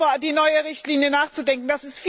über die neue Richtlinie nachzudenken.